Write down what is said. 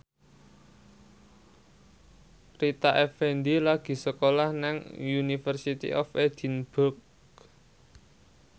Rita Effendy lagi sekolah nang University of Edinburgh